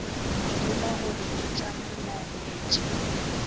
ruma gore ke tša molaletši